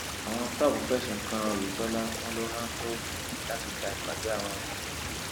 àwọn tòp fẹsùn kan oyetola wọn ló rán tóògì láti da ìpàdé àwọn rú